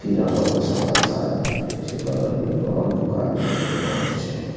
किरानो के सामान सारा भेटय छे बगल में एगो और दुकान छे जे बंद छे एखो --